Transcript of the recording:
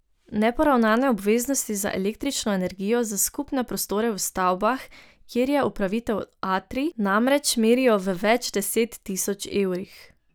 Neporavnane obveznosti za električno energijo za skupne prostore v stavbah, kjer je upravitelj Atrij, namreč merijo v več deset tisoč evrih.